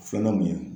Filanan mun ye